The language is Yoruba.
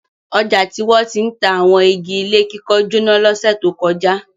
Ọjà tí wọ́n ti ń ta àwọn igi ilé kíkọ́ jóná lọ́sẹ̀ tó kọjá.